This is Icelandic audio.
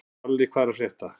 Salli, hvað er að frétta?